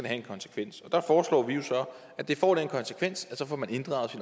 have en konsekvens og der foreslår vi jo så at det får den konsekvens at så får man inddraget